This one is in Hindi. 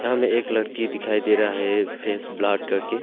यहां हमें एक लड़की दिखाई दे रहा है फेस ब्लॉड करके।